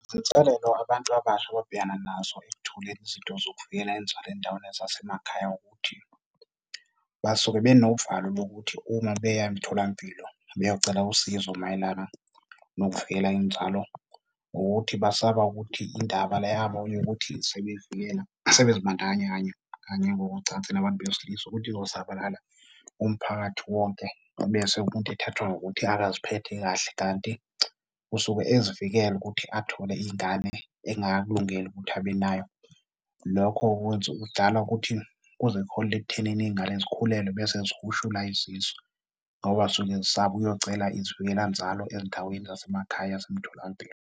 Izinselelo abantu abasha ababhekana nazo ekuthuleni izinto zokuvikela inzalo ey'ndaweni ezasemakhaya ukuthi basuke benovalo lokuthi uma beya emtholampilo beyocela usizo mayelana nokuvikela inzalo, ukuthi basaba ukuthi indaba le yabo yokuthi sebevikela, sebezibandakanya kanye kanye ngokocansi nabantu besilisa ukuthi izosabalala umphakathi wonke ebese umuntu ethathwa ngokuthi akaziphethe kahle. Kanti usuke ezivikela ukuthi athole ingane engakakulungeli ukuthi abe nayo. Lokho kwenza, kudala ukuthi kuze kuholele ekuthenini iy'ngane zikhulelwe bese zihushula izisu ngoba zisuke zisaba ukuyocela izivikela-nzalo ezindaweni zasemakhaya yasemtholampilo.